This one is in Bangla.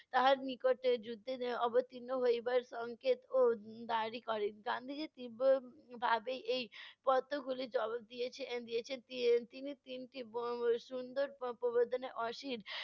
তাহার নিকট যুদ্ধে এর অবতীর্ণ হইবার সংকেত ও দাবী করেন। গান্ধিজী তীব্র ভাবে এই কতকগুলি জবাব দিয়েছে~ দিয়েছেন। তি~ তিনি তিনটি উম সুন্দর প~ প্রবর্তনায়